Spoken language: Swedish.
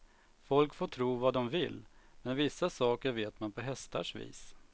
Folk får tro vad dom vill, men vissa saker vet man på hästars vis.